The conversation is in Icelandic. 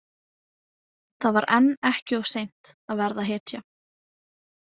Það var enn ekki of seint að verða hetja.